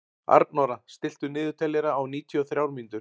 Arnóra, stilltu niðurteljara á níutíu og þrjár mínútur.